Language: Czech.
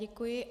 Děkuji.